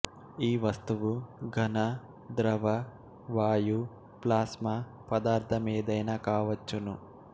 ఈ వస్తువు ఘన ద్రవ వాయు ప్లాస్మా పదార్దమేదయినా కావచ్చును